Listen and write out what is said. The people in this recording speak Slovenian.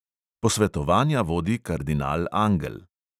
Posvetovanja vodi kardinal angel.